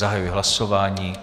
Zahajuji hlasování.